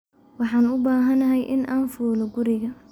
Waxaan u baahanahay in aan fuulo guriga